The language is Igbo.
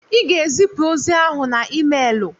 Ị ga-ezipụ ozi ahụ na emeelụ!